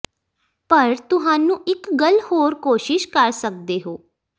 ਪਰ ਤੁਹਾਨੂੰ ਇੱਕ ਗੱਲ ਹੋਰ ਕੋਸ਼ਿਸ਼ ਕਰ ਸਕਦੇ ਹੋ